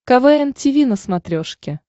квн тиви на смотрешке